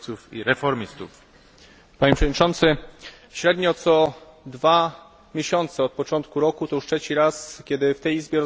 Średnio co dwa miesiące od początku roku to już trzeci raz kiedy w tej Izbie rozmawiamy o tym, co dzieje się na Białorusi.